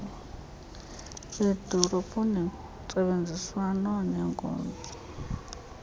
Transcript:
beedolophu ngentsebenziswano nenkonzo